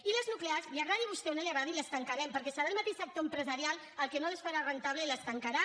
i les nuclears li agradi a vostè o no li agradi les tancarem perquè serà el mateix sector empresarial el que no les farà rendibles i les tancarà